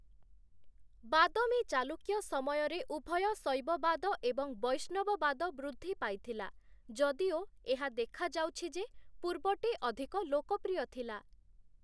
ବାଦମି ଚାଲୁକ୍ୟ ସମୟରେ ଉଭୟ ଶୈବବାଦ ଏବଂ ବୈଷ୍ଣବବାଦ ବୃଦ୍ଧି ପାଇଥିଲା, ଯଦିଓ ଏହା ଦେଖାଯାଉଛି ଯେ ପୂର୍ବଟି ଅଧିକ ଲୋକପ୍ରିୟ ଥିଲା ।